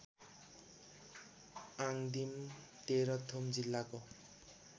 आङदिम तेह्रथुम जिल्लाको